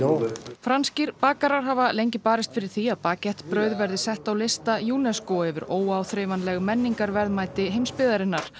franskir bakarar hafa lengi barist fyrir því að baguette brauð verði sett á lista UNESCO yfir óáþreifanleg menningarverðmæti heimsbyggðarinnar